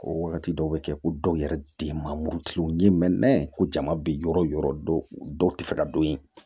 Ko wagati dɔw be kɛ ko dɔw yɛrɛ de ma murutigiw ɲini ko jama bi yɔrɔ yɔrɔ dɔ ti fɛ ka don yen